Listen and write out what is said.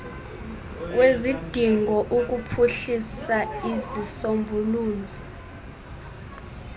kwezidingo ukuphuhlisa izisombululo